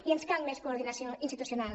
i ens cal més coordinació institucional